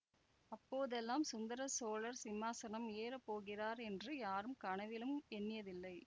அப்போதெல்லாம் சுந்தர சோழர் சிம்மாசனம் ஏறப் போகிறார் என்று யாரும் கனவிலும் எண்ணியதில்லை